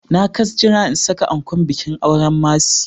Na kas jira in saka ankon bikin auren Mercy.